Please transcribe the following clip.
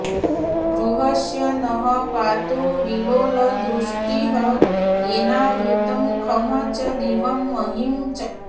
गुहस्य नः पातु विलोलदृष्टिः येनावृतं खं च दिवं महीं च